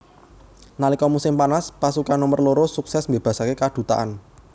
Nalika musim panas pasukan nomer loro sukses mbebasake kadutaan